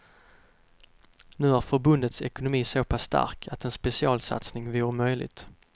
Nu är förbundets ekonomi så pass stark att en specialsatsning vore möjlig.